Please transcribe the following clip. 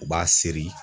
U b'a seri